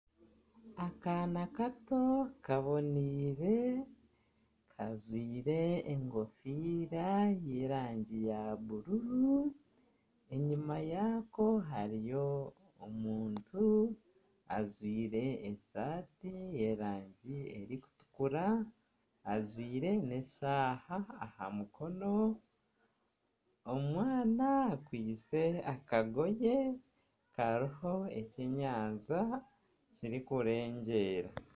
Akaana kato kaboneire, kajwaire enkofiira y'erangi ya bururu. Enyima yako hariyo omuntu ajwaire esaati y'erangi erikutukura, ajwaire n'eshaaha aha mukono. Omwana akwaitse akagoye, kariho ekyenyanja kirikurengyeera.